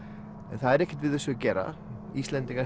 en það er ekkert við þessu að gera Íslendingar